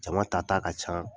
Jama tata ka ca